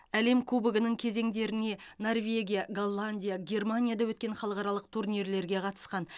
әлем кубогының кезеңдеріне норвегия голландия германияда өткен халықаралық турнирлерге қатысқан